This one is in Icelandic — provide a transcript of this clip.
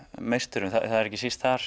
meisturum það er ekki síst þar